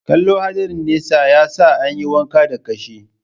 Kallo hadarin nesa, ya sa an yi wanka da kashi.